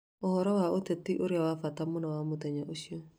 Ũhoro wa ũteti ũrĩa wa bata mũno wa mũthenya ũcio